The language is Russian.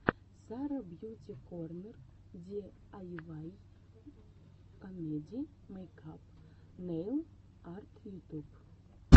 сара бьюти корнер ди ай вай комеди мейкап нейл арт ютуб